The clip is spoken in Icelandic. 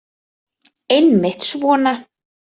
Einmitt svona.